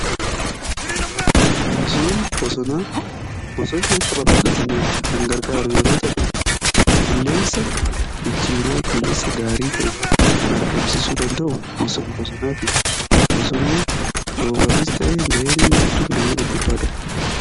Misooma bosonaa bosonni akka babalataniif kan gargaaru yeroo ta'uu qilleensa ijjiiree qilleensa gaarii ta'e kan argamsiisuu danda'u misooma bosonaati. Bosonni roobafis ta'ee ga'een inni fidu ga'ee gurguddaadha.